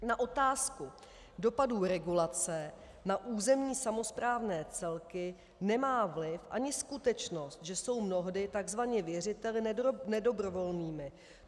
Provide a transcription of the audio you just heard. Na otázku dopadů regulace na územní samosprávné celky nemá vliv ani skutečnost, že jsou mnohdy tzv. věřiteli nedobrovolnými.